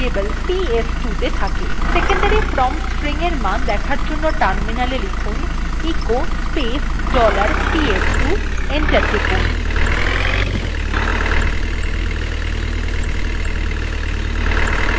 secondary value command prompt এর মান দেখার জন্য terminal এ লিখুন echo space dollar ps2 enter টিপুন